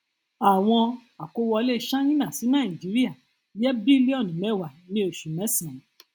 àwọn àkówọlé ṣáínà sí nàìjíríà jẹ bílíọnù mẹwàá ní oṣù mésànán